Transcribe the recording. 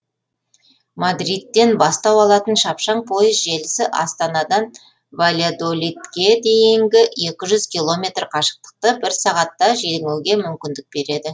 мадридтен бастау алатын шапшаң пойыз желісі астанадан вальядолидке дейінгі екі жүз километр қашықтықты бір сағатта жеңуге мүмкіндік береді